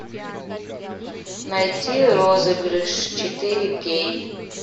найти розыгрыш четыре кей